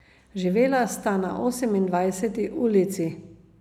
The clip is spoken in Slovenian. Živela sta na Osemindvajseti ulici.